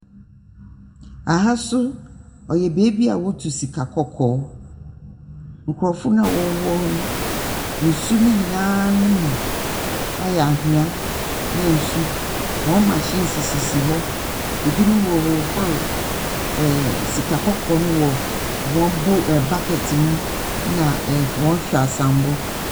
Ha nso, ɔyɛ beebi a wɔtu sika kɔkɔɔ. Nkorɔfo no a wɔwɔ hɔ no, nsu nonyinaa mu ayɛ anhwɛ, na nsu wɔn machine sisi hɔ. Binom wɔrehohor ɛɛ . Sikakɔkɔɔ no wɔ wɔn bow ɛɛ bucket mu, na ɛhw wɔn hweaseambɔ.